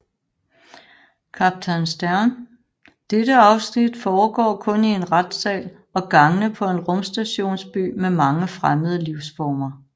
Kaptajn Sternn Dette afsnit foregår kun i en retssal og gangene på en rumstationsby med mange fremmede livsformer